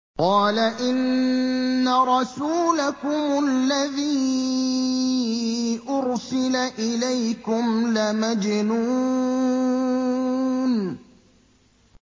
قَالَ إِنَّ رَسُولَكُمُ الَّذِي أُرْسِلَ إِلَيْكُمْ لَمَجْنُونٌ